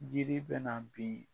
Jiri bɛna bin